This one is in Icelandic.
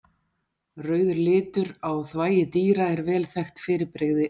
Rauður litur á þvagi dýra er vel þekkt fyrirbrigði erlendis.